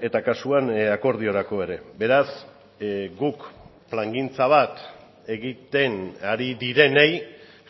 eta kasuan akordiorako ere beraz guk plangintza bat egiten ari direnei